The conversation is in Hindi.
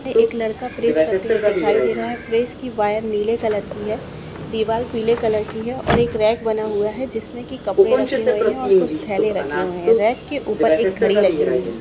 ये एक लड़का प्रेस करते हुए दिखाई दे रहा है प्रेस की वायर नीले कलर की है दीवाल पीले कलर की है और एक रेक बना हुआ है जिसमें की कपड़े रखे हुए है और कुछ थैले रखे हुए है रेक के ऊपर एक घड़ी लगी हुई है।